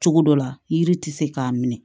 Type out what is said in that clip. Cogo dɔ la yiri ti se k'a minɛ